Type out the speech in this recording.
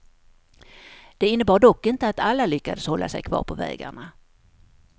Det innebar dock inte att alla lyckades hålla sig kvar på vägarna.